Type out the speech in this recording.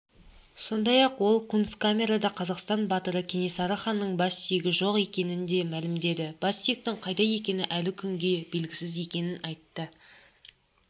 сондай-ақ ол кунсткамерада қазақстан батыры кенесары ханның бассүйегі жоқ екенін де мәлімдеді бассүйектің қайда екені әлі күнге белгісіз екенін айтты